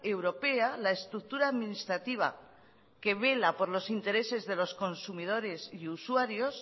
europea la estructura administrativa que vela por los intereses de los consumidores y usuarios